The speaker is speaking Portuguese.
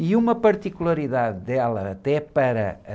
E uma particularidade dela até para a...